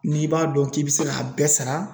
N'i b'a dɔn k'i bɛ se k'a bɛɛ sara.